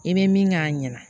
E be min k'a ɲɛna